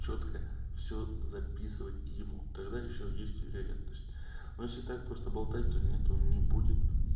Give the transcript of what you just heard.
шутка всё записывать ему тогда ещё есть вероятность ну если так просто болтать то нет он не будет